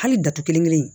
Hali datugu kelen